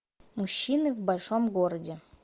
мужчины в большом городе